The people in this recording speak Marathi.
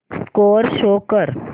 स्कोअर शो कर